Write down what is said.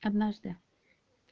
однажды